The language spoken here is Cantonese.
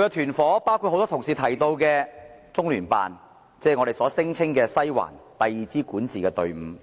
的團伙，包括很多同事也有提及的中聯辦，就是我們聲稱的"西環"，即第二支管治隊伍。